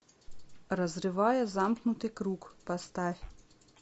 разрывая замкнутый круг поставь